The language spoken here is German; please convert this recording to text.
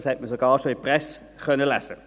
Das konnte man sogar schon in der Presse lesen.